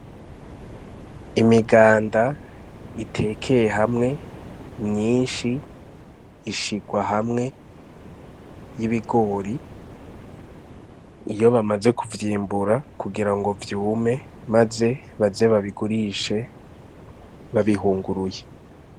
Imiganda itekeye hamwe myinshi ishigwa hamwe n'ibigori, iyo bamaze kuvyimbura kugira ngo vyume maze baze babigurishe babihunguruye.